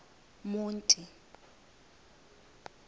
monti